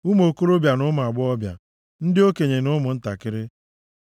ụmụ okorobịa na ụmụ agbọghọ, ndị okenye na ụmụntakịrị.